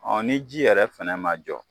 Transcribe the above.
O ni ji yɛrɛ fana ma jɔ